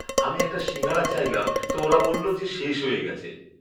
আমি একটা সিঙ্গাড়া চাইলাম তো ওরা বললো যে শেষ হয়ে গেছে।